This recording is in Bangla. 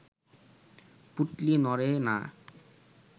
পুঁটলি নড়ে না